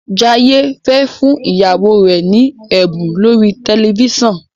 Jaiye fè fún ìyàwó rẹ ní ẹbun lórí tẹlifísàn.